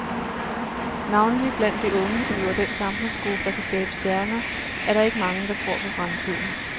Navnlig blandt de unge, som jo er den samfundsgruppe, der kan skabe stjerner, er der ikke mange, der tror på fremtiden.